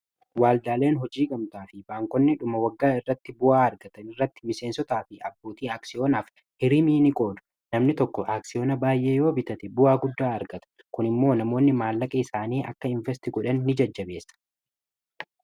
Waaldaaleen hojii gamtaa fi baankonni dhuma waggaa irratti bu'aa argatan irratti miseensotaa fi abbootii aaksiyoonaaf niqoodu. Namni tokko aaksiyoona baay'ee yoo bitate bu'aa guddaa argata kun immoo namoonni maallaqa isaanii akka invest godhan ni jajjabeessa.